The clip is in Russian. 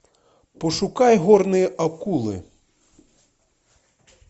пошукай горные акулы